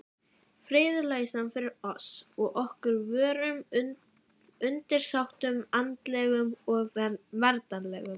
Friðlausan fyrir oss og öllum vorum undirsátum andlegum og veraldlegum.